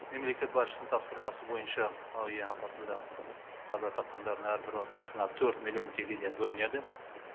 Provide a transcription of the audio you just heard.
мемлекет басшысының тапсырмасы бойынша әуе апатында қаза тапқандардың әрбір отбасына төрт миллион теңгеден бөлінеді